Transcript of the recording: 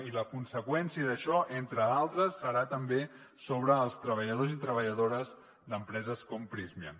i la conseqüència d’això entre d’altres serà també sobre els treballadors i treballadores d’empreses com prysmian